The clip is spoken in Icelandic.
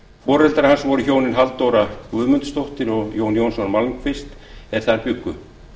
foreldrar hans voru hjónin halldóra guðmundsdóttir og jón jónsson malmquist er þar bjuggu